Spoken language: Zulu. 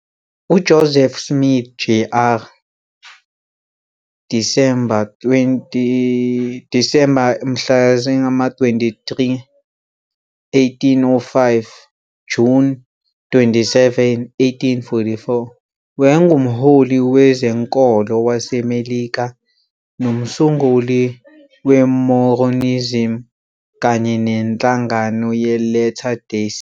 UJoseph Smith Jr., Disemba 23, 1805 - Juni 27, 1844, wayengumholi wezenkolo waseMelika nomsunguli weMormonism kanye nenhlangano yeLatter Day Saint.